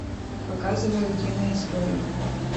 показывай утиные истории